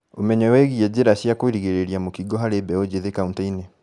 Ũmenyo wĩĩgiĩ njĩra cia kũgirĩrĩria mũkingo harĩ mbeũ njĩthĩ kauntĩ-inĩ